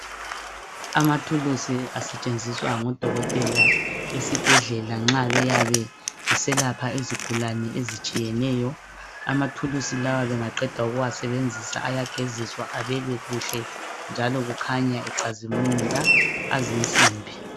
Amathulusi asetshenziswa ngodokotela esibhedlela, nxa beyabe beselapha izigulane ezitshiyeneyo. Amathulusi lawa , bangaqeda ukuwasebenzisa, ayageziswa. Abekwe kuhle, njalo akhanya ecazimula. Azinsimbi.